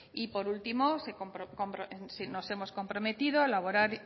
y por último nos hemos comprometido a elaborar